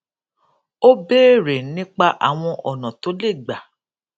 ó béèrè nípa àwọn ònà tó lè gbà